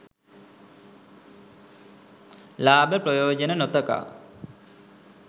ලාභ ප්‍රයෝජන නො තකා